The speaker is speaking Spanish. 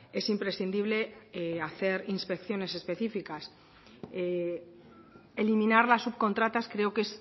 es imprescindible hacer inspecciones específicas eliminar las subcontratas creo que